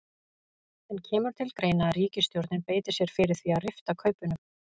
En kemur til greina að ríkisstjórnin beiti sér fyrir því að rifta kaupunum?